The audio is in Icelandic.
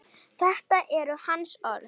Þetta eru hans orð.